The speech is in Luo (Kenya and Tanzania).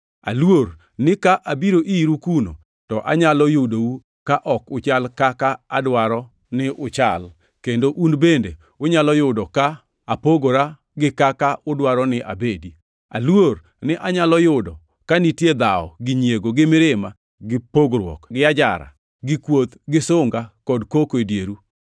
Aluor ni ka abiro iru kuno to anyalo yudou ka ok uchal kaka adwaro ni uchal, kendo un bende unyalo yudo ka apogora gi kaka udwaro ni abedi. Aluor ni anyalo yudo ka nitie dhawo gi nyiego, gi mirima, gi pogruok, gi ajara, gi kuoth, gi sunga kod koko e dieru.